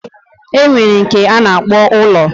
Enwere nke ana akpo ulo